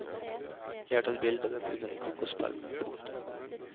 Jeg har tatt bilde av dem under en kokospalme. punktum